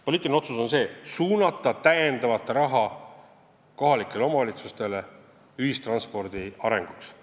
Poliitiline otsus on see: suunata täiendavat raha kohalikele omavalitsustele ühistranspordi arenguks.